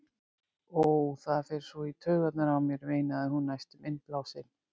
Ó, það fer svo í taugarnar á mér, veinaði hún næstum innblásin.